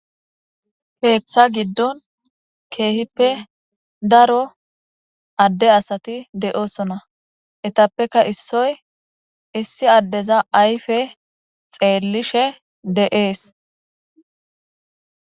Keeththa giddon keehippe daro adde asati de7oosona etappeka issoy issi addeza ayfe xeellishe de7ees